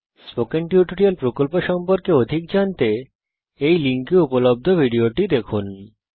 spoken tutorial প্রকল্প সম্পর্কে অধিক জানতে এই লিঙ্কে উপলব্ধ ভিডিওটি দেখুন